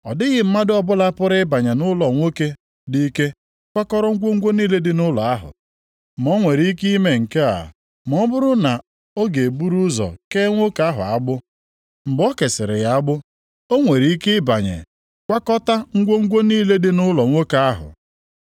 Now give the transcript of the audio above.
“Ọ dịghị mmadụ ọbụla pụrụ ịbanye nʼụlọ nwoke dị ike kwakọrọ ngwongwo niile dị nʼụlọ ahụ. Ma o nwere ike ime nke a ma ọ bụrụ na ọ ga-eburu ụzọ kee nwoke ahụ agbụ? Mgbe o kesịrị ya agbụ, o nwere ike ịbanye kwakọtaa ngwongwo niile dị nʼụlọ nwoke ahụ.